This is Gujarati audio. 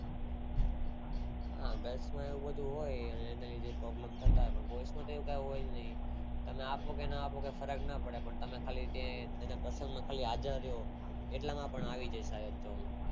હા Girls એવું બધું હોય એને એ બધા Problem થતાં હોય boys માં તો એવું કે હોય ને એને આપો કે ના આપો કે ફરક નો પડે તમે એની પસંદ થી આખા રયો એટલા માં એનું આવી જાય